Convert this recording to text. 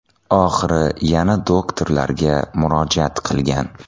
Oxiri yana doktorlarga murojaat qilgan.